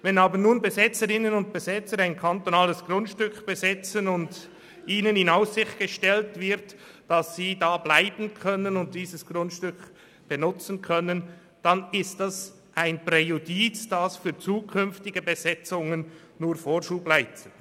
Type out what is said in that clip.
Wenn aber nun Besetzerinnen und Besetzer ein kantonales Grundstück besetzen und ihnen in Aussicht gestellt wird, dass sie bleiben und das Grundstück nutzen können, ist das ein Präjudiz, das zukünftigen Besetzungen Vorschub leistet.